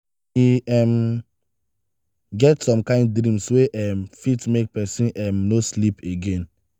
e um get some kain dreams wey um fit make pesin um no sleep again.